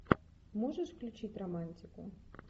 можешь включить романтику